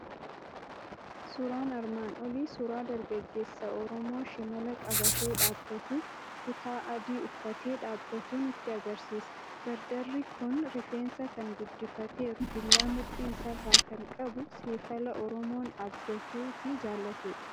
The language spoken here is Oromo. Suuraan armaan olii suuraa dargaggeessa Oromoo shimala qabatee dhaabbatu, kutaa adii uffatee dhaabbatu nutti argisiisa. Dardarri kun rifeensa kan guddifateeru, billaa mudhii isaa irraa kan qabu, saafela Oromoon abdatuu fi jaalatudha.